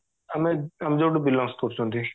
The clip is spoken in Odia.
ଆମେ ଆମେ ଯୋଉଠୁ belongs କରୁଛନ୍ତି